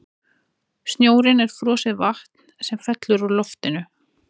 snjórinn er frosið vatn sem fellur úr loftinu